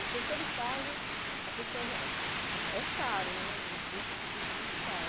Em terceiro estágio, a pessoa já é caro né, um curso que custa muito caro.